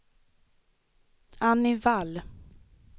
Annie Wall